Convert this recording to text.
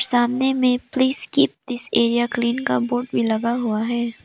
सामने में please keep this area clean का बोर्ड भी लगा हुआ है।